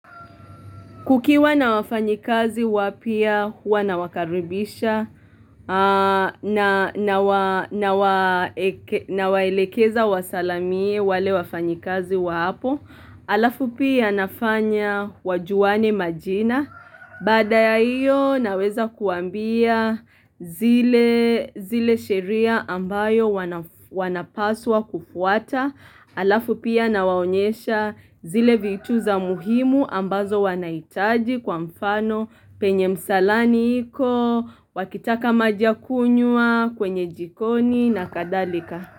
Kukiwa na wafanyikazi wapya huwa na wakaribisha na waelekeza wasalimie wale wafanyikazi wa hapo, alafu pia nafanya wajuwane majina. Baada ya hiyo naweza kuwambia zile zile sheria ambayo wanapaswa kufuata Alafu pia na waonyesha zile vitu za muhimu ambazo wanahitaji kwa mfano penye msalani hiko, wakitaka majia kunywa kwenye jikoni na kadhalika.